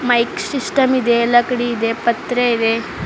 Like system ಇದೆ ಲಕಡಿ ಇದೆ ಪತ್ರೆ ಇದೆ.